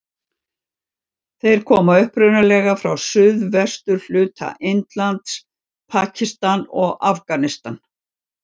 Þeir koma upprunalega frá suðvesturhluta Indlands, Pakistan og Afganistan.